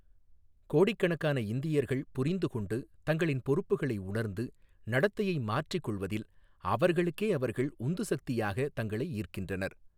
கோடிக்கணக்கான இந்தியர்கள் புரிந்து கொண்டு, தங்களின் பொறுப்புகளை உணர்ந்து, நடத்தையை மாற்றிக் கொள்வதில் அவர்களுக்கே அவர்கள் உந்துசக்தியாக தங்களை ஈர்க்கின்றனர்.